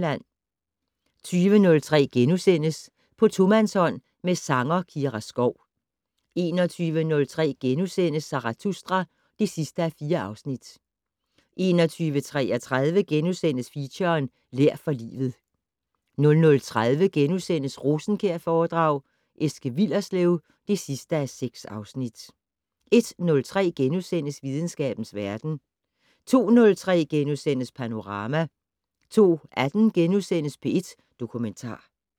20:03: På tomandshånd med sanger Kira Skov * 21:03: Zarathustra (4:4)* 21:33: Feature: Lær for livet * 00:30: Rosenkjærforedrag: Eske Willerslev (6:6)* 01:03: Videnskabens verden * 02:03: Panorama * 02:18: P1 Dokumentar *